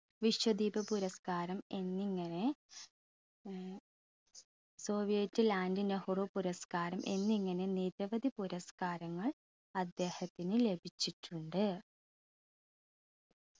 വിശ്വദീപ പുരസ്‌കാരം എന്നിങ്ങനെ ഏർ soviet land നെഹ്‌റു പുരസ്‌കാരം എന്നിങ്ങനെ നിരവധി പുരസ്‌കാരങ്ങൾ അദ്ദേഹത്തിന് ലഭിച്ചിട്ടുണ്ട്